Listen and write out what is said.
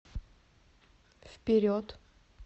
вперед